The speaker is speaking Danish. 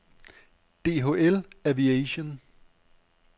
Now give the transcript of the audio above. Dhl Aviation